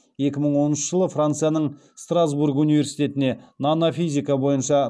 екі мың оныншы жылы францияның страсбург университетіне нано физика бойынша